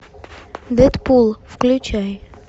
дэдпул включай